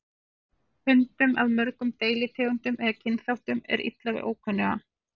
Hundum af mörgum deilitegundum eða kynþáttum er illa við ókunnuga.